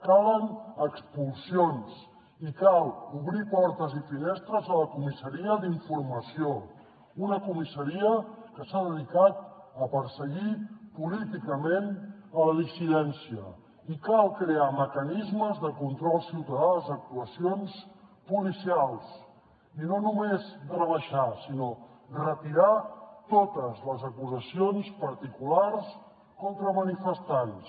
calen expulsions i cal obrir portes i finestres a la comissaria d’informació una comissaria que s’ha dedicat a perseguir políticament la dissidència i cal crear mecanismes de control ciutadà a les actuacions policials i no només rebaixar sinó retirar totes les acusacions particulars contra manifestants